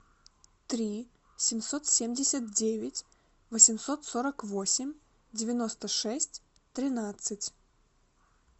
три семьсот семьдесят девять восемьсот сорок восемь девяносто шесть тринадцать